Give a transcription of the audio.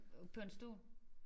På en stol